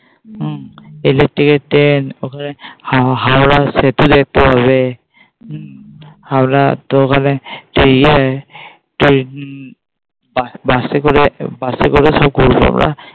ওখানে হুম ওখানে হাওড়ার সেতু দেখতে পাবে আমরা তো ওখানে সেই ইয়ে সেই Bus করে Bus করে সব ঘুরবো আমরা।